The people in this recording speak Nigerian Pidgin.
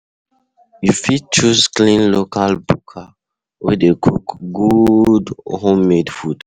You fit choose clean local buka wey dey cook good home made food